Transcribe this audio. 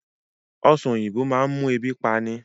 Ọ̀sán oyinbo máa ń mú ebi pani